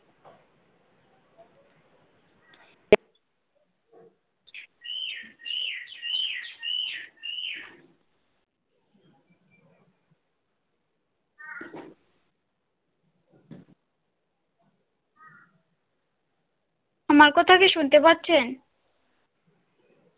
আমার কথা কি শুনতে পাচ্ছে